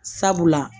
Sabula